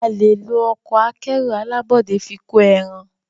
a lẹ ló Ọkọ̀ akẹ́rù alábọ́dé fí kọ èràn.